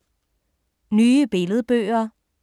Nye billedbøger